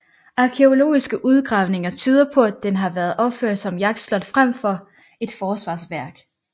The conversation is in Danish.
Arkæologiske udgravniger tyder på at den har været opført som et jagtslot frem for et forsvarsværk